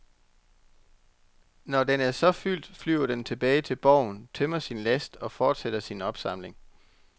Når den så er fyldt, flyver den tilbage til borgen, tømmer sin last og fortsætter sin opsamling.